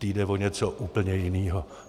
Té jde o něco úplně jiného.